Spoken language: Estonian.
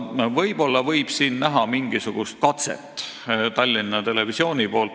Siin võib aga näha mingisugust katset Tallinna Televisiooni initsiatiivil.